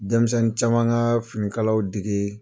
Denmisɛnni caman ka fini kalaw dege.